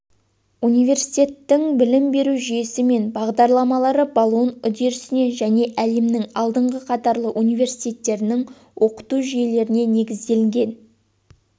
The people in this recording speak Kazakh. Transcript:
университеттің білім беру жүйесі мен бағдарламалары болон үдерісіне және әлемнің алдыңғы қатарлы университеттерінің оқыту жүйелеріне негізделген